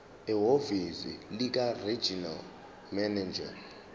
ehhovisi likaregional manager